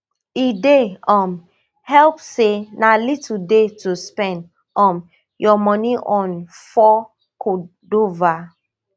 e dey um help say na little dey to spend um your money on for cordova